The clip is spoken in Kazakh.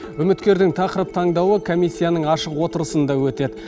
үміткердің тақырып таңдауы комиссияның ашық отырысында өтеді